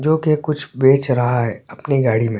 जो की कुछ बेच रहा है अपनी गाड़ी में--